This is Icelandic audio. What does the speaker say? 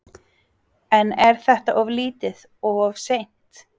En er þetta of lítið og of seint?